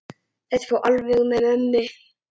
Þetta fór alveg með ömmu.